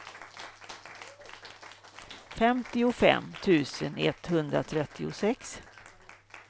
femtiofem tusen etthundratrettiosex